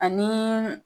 Ani